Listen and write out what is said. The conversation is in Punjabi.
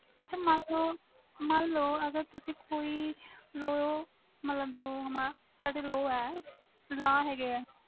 ਅੱਛਾ ਮਨ ਲੋ ਅਗਰ ਤੁਸੀ ਕੋਈ law ਮਤਬਲ ਜੋ ਸਾਡੇ law ਹੈ ਗਏ ਵ